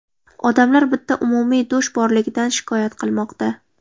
Odamlar bitta umumiy dush borligidan shikoyat qilmoqda.